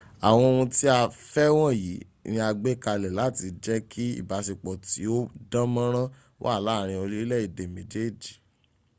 àwọn ohun tí a fẹ́ wọ̀nyí ni a gbé kalẹ̀ láti jẹ́ kí ìbáṣepọ̀ tí ó dá mọ́nrán wà láàárin orílẹ̀èdè méjèèj